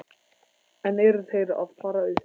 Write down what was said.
En eru þeir að fara upp?